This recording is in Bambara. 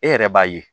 E yɛrɛ b'a ye